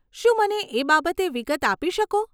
શું મને એ બાબતે વિગત આપી શકો?